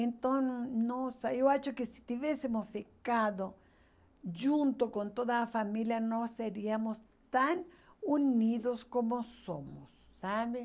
Então, nossa, eu acho que se tivéssemos ficado junto com toda a família, nós seríamos tão unidos como somos, sabe?